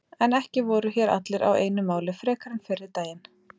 En ekki voru hér allir á einu máli frekar en fyrri daginn.